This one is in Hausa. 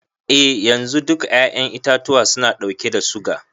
Eh yanzu, duka 'ya'yan itatuwa suna ɗauke da suga.